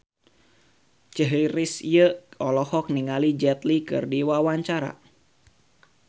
Chrisye olohok ningali Jet Li keur diwawancara